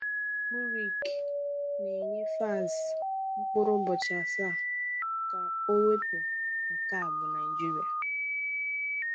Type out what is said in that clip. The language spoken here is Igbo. MURIC na-enye Falz mkpụrụ ụbọchị asaa ka o wepụ "Nke a bụ Naịjirịa".